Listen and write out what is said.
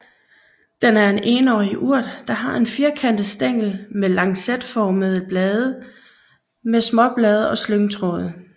Den er enårig urt der har en firkantet stængel med lancetformede blade med småblade og slyngtråde